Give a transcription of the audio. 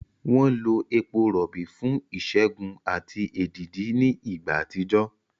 Wọ́n lo epo rọ̀bì fún ìṣègùn àti èdìdì ní ìgbà àtijọ́.